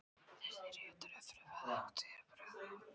Þessir réttur er fremur til hátíðabrigða.